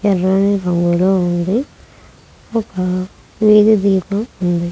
ఎర్రని రంగులో ఉంది ఒక వీధి దీపం ఉంది.